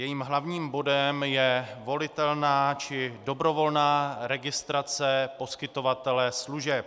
Jejím hlavním bodem je volitelná či dobrovolná registrace poskytovatele služeb.